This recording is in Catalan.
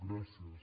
gràcies